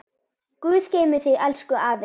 Guð geymi þig elsku afi.